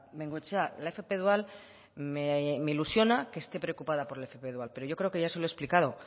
bengoechea la fp dual me ilusiona que esté preocupada por la fp dual pero yo creo que ya se lo he explicado